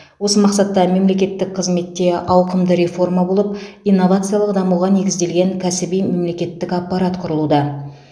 осы мақсатта мемлекеттік қызметте ауқымды реформа болып инновациялық дамуға негізделген кәсіби мемлекеттік аппарат құрылуда